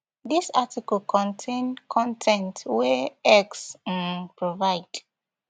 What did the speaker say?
dis article contain con ten t wey x um provide